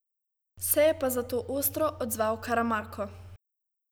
Se je pa zato ostro odzval Karamarko.